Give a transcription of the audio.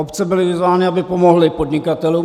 Obce byly vyzvány, aby pomohly podnikatelům.